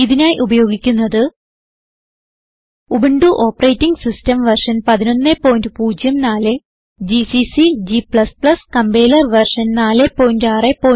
ഇതിനായി ഉപയോഗിക്കുന്നത് Ubuntu operating system version 1104 GCC g compiler version 461